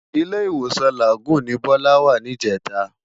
Ilé-Iwósán Lágùn ni Bola wá nijètá